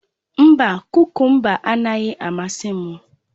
Mba, kukumba anaghị amasị m